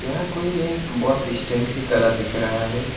यहां कोई एक बस स्टैंड की तरह दिख रहा है।